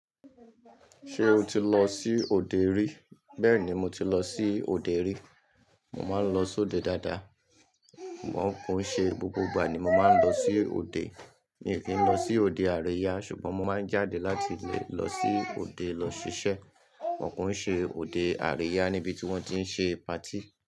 Ṣé o ti lọ sí òde rí? Bẹ́ẹ̀ni mo ti lọ sí òde rí. Mo máa ń lọ sí òde dáadáa. Wọn kò n ṣe gbogbo ìgbà ni mo má n lọ sí òde. Mi ì kí ń lọ sí òde àríyá ṣùgbọ́n mo máa ń jáde láti lè lọ sí òde lọ ṣiṣẹ́. But kò n ṣe òde àríyá níbi tí wọ́n tí n ṣe patí.